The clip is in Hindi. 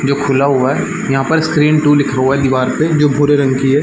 जो खुला हुआ है यहाँ पर स्क्रीन टू लिखा हुआ है दीवार पे जो भूरे रंग की हैं।